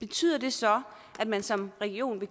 betyder det så at man som region vil